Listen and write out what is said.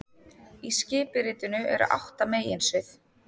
Í skipuritinu eru átta meginsvið